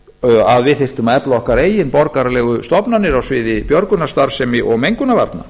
móti að við þyrftum að efla okkar eigin borgaralegu stofnanir á sviði björgunarstarfsemi og mengunarvarna